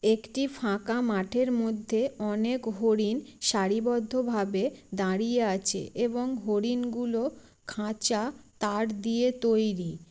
একটি ফাঁকা মাঠের মধ্যে অনেক হরিণ সারিবদ্ধভাবে দাঁড়িয়ে আছে এবং হরিণগুলো খাঁচা তার দিয়ে তৈরী।